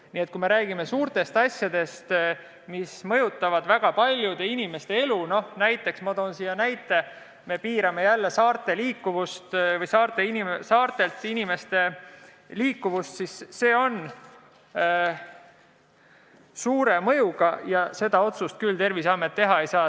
Nii et kui me räägime suurtest asjadest, mis mõjutavad väga paljude inimeste elu, näiteks piirame jälle inimeste saartevahelist liikumist, siis see otsus on suure mõjuga ja seda küll Terviseamet üksinda teha ei saa.